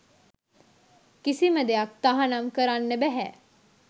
කිසිම දෙයක් තහනම් කරන්න බැහැ